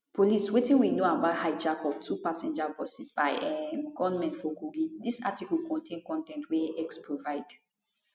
police wetin we know about hijack of two passenger buses by um gunmen for kogi dis article contain con ten t wey x provide